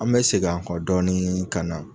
An bɛ segin an kɔ dɔɔni ka na